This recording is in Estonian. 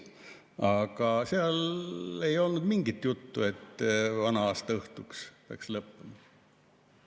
Aga seal ei olnud mingit juttu, et vana-aastaõhtuks peaks lõppema.